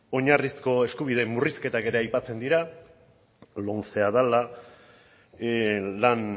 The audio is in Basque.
oinarrizko eskubideen murrizketak ere aipatzen dira lomcea dela lan